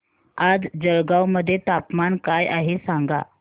आज जळगाव मध्ये तापमान काय आहे सांगा